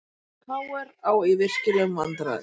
KR á í virkilegum vandræðum